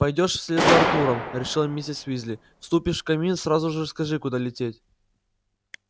пойдёшь вслед за артуром решила миссис уизли вступишь в камин сразу скажи куда лететь